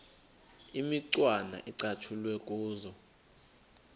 imicwana ecatshulwe kuzo